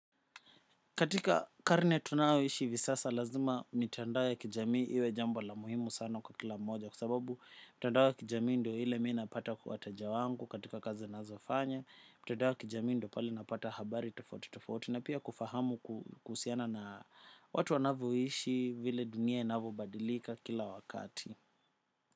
Katika karne tunaoishi hivi sasa lazima mitandao kijamii iwe jambo la muhimu sana kwa kila moja kwa sababu mtandao wa kijamii ndio ile mina pata wateja wangu katika kazi nazofanya mtandao wa kijamii ndo pale napata habari tofauti tofauti na pia kufahamu kusiana na watu wanavyo ishi vile dunia inapo badilika kila wakati.